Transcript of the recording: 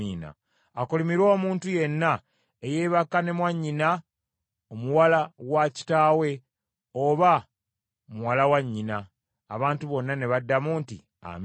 “Akolimirwe omuntu yenna eyeebaka ne mwannyina omuwala wa kitaawe, oba muwala wa nnyina.” Abantu bonna ne baddamu nti, “Amiina.”